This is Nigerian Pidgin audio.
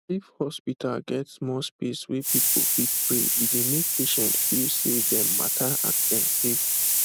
if hospital get small space wey people fit pray e dey make patients feel say dem matter and dem safe